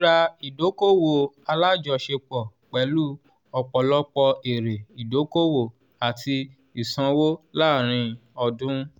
rírà ìdókòwò alájọṣepọ́ pẹ̀lú ọ̀pọ̀lọpọ̀ èrè idókòwò àti ìsanwó láàárín ọdún.